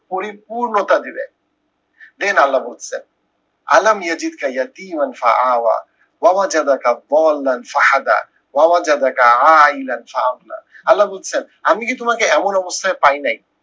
পরিপূর্ণতা দিবে। then আল্লা বলতেসে আল্লা বলতেসেন আমি কি তোমাকে এমন অবস্থায় পাই নাই